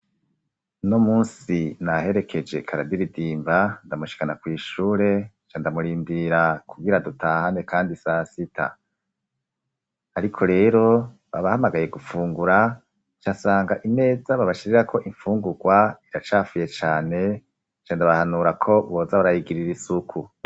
Uno munsi, naherekeje Karadiridimba, ndamushikana kw’ishure, nca ndamurindira kugira dutahane kandi sasita; ariko rero, babahamagaye gufungura, nca nsanga imeza babashirirako imfungurwa iracafuye cane, nca ndabahanura ko boza barayigirira isuku.